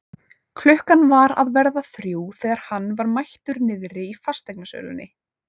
Klukkan var að verða þrjú þegar hann var mættur niðri í fasteignasölunni.